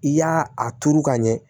I y'a a turu ka ɲɛ